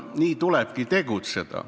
Nii tulebki tegutseda.